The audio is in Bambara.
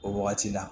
O wagati la